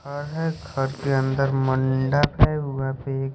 वह पे एक --